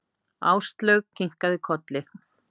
Áslaug kinkaði kolli.